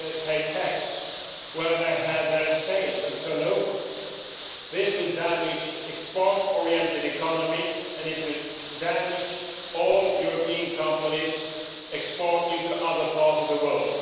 pay tax where they have their sales and turnover, this will damage the export orientated economy and it will damage all European companies exporting to other parts of the world.